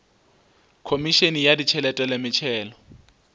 khomišene ya ditšhelete le metšhelo